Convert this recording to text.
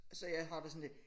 Så jeg har det sådan lidt